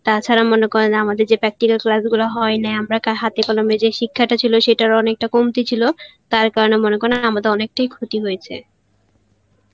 তা ছাড়া মনে করেন আমাদের যে practical class গুলো হয় নাই আমরা ক~ হাতে কলমে যে শিক্ষাটা ছিল সেটার অনেকটা কমতি ছিল তার কারণে মনে করেন আমাদের অনেকটাই ক্ষতি হয়েছে